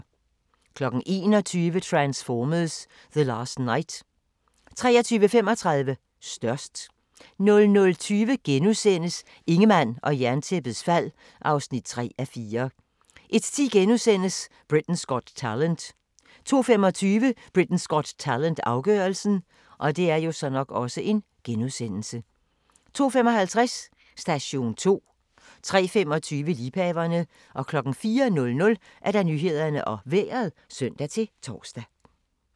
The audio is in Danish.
21:00: Transformers: The Last Knight 23:35: Størst 00:20: Ingemann og Jerntæppets fald (3:4)* 01:10: Britain's Got Talent * 02:25: Britain's Got Talent - afgørelsen 02:55: Station 2 03:25: Liebhaverne 04:00: Nyhederne og Vejret (søn-tor)